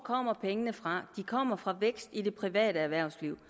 kommer pengene fra de kommer fra vækst i det private erhvervsliv